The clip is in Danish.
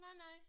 Nej nej